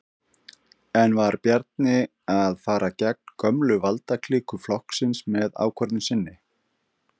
En var Bjarni að fara gegn gömlu valdaklíku flokksins með ákvörðun sinni?